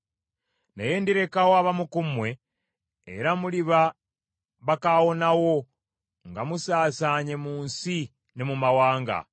“ ‘Naye ndirekawo abamu ku mmwe, era muliba bakaawonawo nga musaasaanye mu nsi ne mu mawanga.